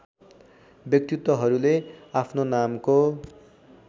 व्यक्तित्वहरूले आफ्नो नामको